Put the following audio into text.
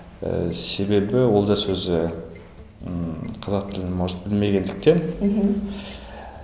ы себебі олжас өзі ммм қазақ тілін может білмегендіктен мхм